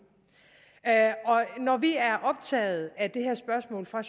når vi er optaget af det her spørgsmål fra